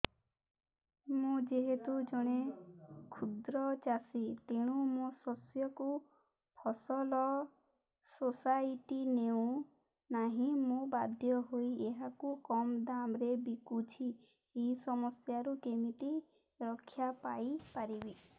ମୁଁ ଯେହେତୁ ଜଣେ କ୍ଷୁଦ୍ର ଚାଷୀ ତେଣୁ ମୋ ଶସ୍ୟକୁ ଫସଲ ସୋସାଇଟି ନେଉ ନାହିଁ ମୁ ବାଧ୍ୟ ହୋଇ ଏହାକୁ କମ୍ ଦାମ୍ ରେ ବିକୁଛି ଏହି ସମସ୍ୟାରୁ କେମିତି ରକ୍ଷାପାଇ ପାରିବି